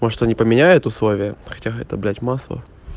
может они поменяют условия хотя это блядь массово